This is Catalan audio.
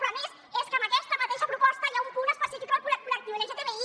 però a més és que en aquesta mateixa proposta hi ha un punt específic al col·lectiu lgtbi